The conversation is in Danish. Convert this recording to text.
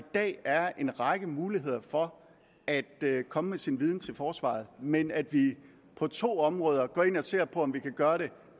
dag er en række muligheder for at komme med sin viden til forsvaret men at vi på to områder går ind og ser på om vi kan gøre det